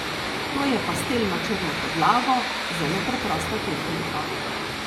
To je pastel na črno podlago, zelo preprosta tehnika.